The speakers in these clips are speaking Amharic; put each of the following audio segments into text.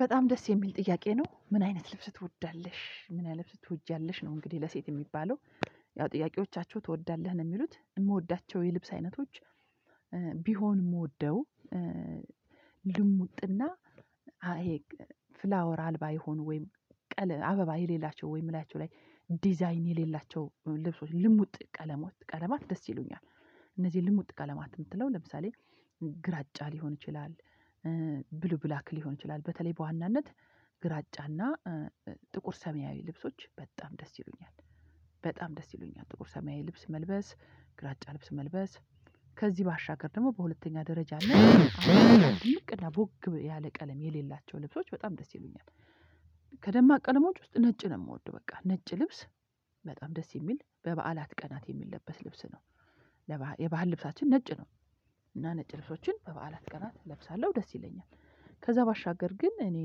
በጣም ደስ የሚል ጥያቄ ነው ምን አይነት ልብስ ትወዳለሽ? ምን ያህል ልብስ ትወጃለሽ? ነው እንግዲህ ለሴት የሚባለው ያው ጥያቄዎቻቸው ትወዳለህ ነው የሚሉት የምወዳቸው የልብስ አይነቶች ቢሆን የምወደው ልሙጥና ፍላወር አልባ ይሆን ወይም ቀለ አበባ የሌላቸው ወይም ላያቸው ላይ ዲዛይን የሌላቸው ልብሶች ልሙጥ ቀለማት ቀለማት ደስ ይሉኛል እነዚህን ልሙጥ ቀለማት የምትለው ለምሳሌ ግራጫ ሊሆን ይችላል ብሉ ብላክ ሊሆን ይችላል በተለይ በዋናነት ግራጫና ጥቁር ሰሚያዊ ልብሶች በጣም ደስ ይሉኛል በጣም ደስ ይሉኛል ጥቁር ሰማያዊ ልብስ መልበስ ግራጫ ልብስ መልበስ። ከዚህ ባሻገር ደግሞ በሁለተኛ ደረጃ እና ልቅ እና ቦግ ያለ ቀለም የሌላቸው ልብሶች በጣም ደስ ይሉኛል። ከደማቅ ቀደሞች ውስጥ ነጭ ነው የምወደው በቃ ነጭ ልብስ በጣም ደስ የሚል በበዓላት ቀናት የሚለበስ ልብስ ነው። የባህል ልብሳችን ነጭ ነው እና ነጭ ልብሶችን በበዓላት ቀናት እለብሳለሁ ደስ ይለኛል። ከዛ ባሻገር ግን እኔ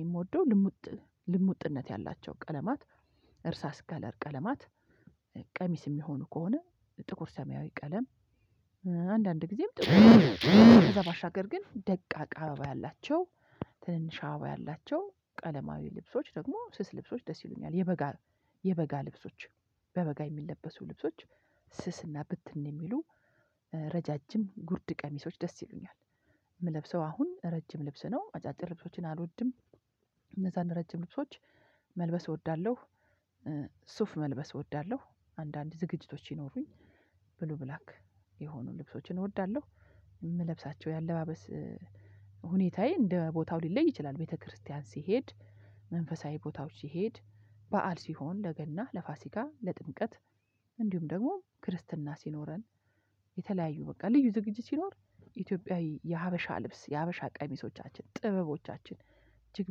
የምወደው ልሙጥ ልሙጥነት ያላቸው ቀለማት እርሳስ ከለር ቀለማት ቀሚስ የሚሆኑ ከሆነ ጥቁር ሰማያዊ ቀለም። አንዳንድ ጊዜም ከዛ ማሻገር ግን ደቃቃ አበባ ያላቸው ትንንሽ አበባ ያላቸው ቀለማዊ ልብሶች ደግሞ ስስ ልብሶች ደስ ይሉኛል የበጋ የበጋ ልብሶች በበጋ የሚለበሱ ልብሶች ስስ እና ብትን የሚሉ ረዣዥም ጉድ ቀሚሶች ደስ ይሉኛል የምለብሰው አሁን ረጅም ልብስ ነው አጫጭር ልብሶችን አልወድም እነዛን ረጅም ልብሶች መልበስ እወዳለሁ። ሱፍ መልበስ እወዳለሁ አንዳንድ ዝግጅቶች ይኖሩኝ ብሉ ብላክ የሆኑ ልብሶችን እወዳለሁ የምለብሳቸው የአለባበስ ሁኔታዬ እንደ ቦታው ሊለይ ይችላል ቤተክርስቲያን ሲሄድ መንፈሳዊ ቦታዎች ሲሄድ በዓል ሲሆን ለገና ለፋሲካ ለጥምቀት እንዲሁም ደግሞ ክርስትና ሲኖረን። የተለያዩ በቃ ልዩ ዝግጅት ሲኖር ኢትዮጵያዊ የሀበሻ ልብስ የሀበሻ ቀሚሶቻችን ጥበቦቻችን እጅግ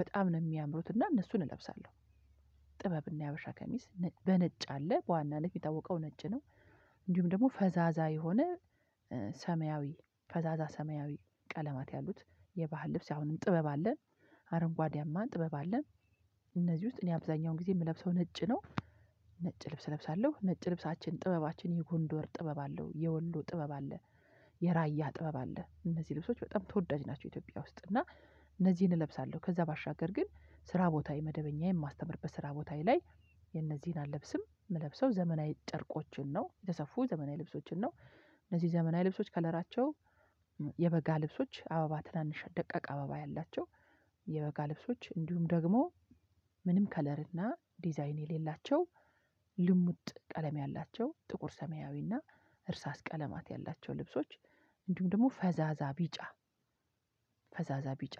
በጣም ነው የሚያምሩት እና እነሱን እለብሳለሁ። ጥበብና የሀበሻ ከሚስ በነጭ አለ በዋና ነጭ የሚጠውቀው ነጭ ነው እንዲሁም ደግሞ ፈዛዛ የሆነ ሰማያዊ ፈዛዛ ሰማያዊ ቀለማት ያሉት የባህል ልብስ አሁንም ጥበብ አለን አረንጓዴያማን ጥበብ አለን። እነዚህ ውስጥ እኔ አብዛኛውን ጊዜ የምለብሰው ነጭ ነው። ነጭ ልብስ እለብሳለሁ ነጭ ልብሳችን ጥበባችን የጎንዶር ጥበብ አለው የወሎ ጥበብ አለ። የራያ ጥበብ አለ እነዚህ ልብሶች በጣም ተወዳጅ ናቸው ኢትዮጵያ ውስጥ እና። እነዚህን እለብሳለሁ ከዛ ባሻገር ግን ስራ ቦታ የመደበኛ የማስተምርበት ስራ ቦታዬ ላይ የነዚህን አልለብስም የምለብሰው ዘመናዊ ጨርቆችን ነው የተሰፉ ዘመናዊ ልብሶችን ነው እነዚህ ዘመናዊ ልብሶች ከለራቸው የበጋ ልብሶች አበባ ትናንሽ ደቀቅ አበባ ያላቸው። የበጋ ልብሶች እንዲሁም ደግሞ ምንም ከለር እና ዲዛይን የሌላቸው። ልሙጥ ቀለም ያላቸው ጥቁር ሰማያዊ እና እርሳስ ቀለማት ያላቸው ልብሶች እንዲሁም ደግሞ ፈዛዛ ቢጫ ፈዛዛ ቢጫ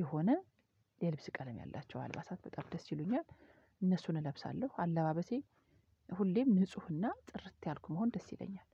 የሆነ የልብስ ቀለም ያላቸው አልባሳት በጣም ደስ ይሉኛል እነሱን እለብሳለሁ አለባበሴ ሁሌም ንፁህና ጥርት ያልኩ ብሆን ደስ ይለኛል።